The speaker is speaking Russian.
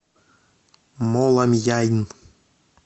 моламьяйн